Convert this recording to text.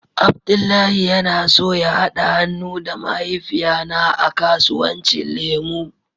Abdullahi yana so ya hada han'nu da mahaifiya na a kasuwanci lemu.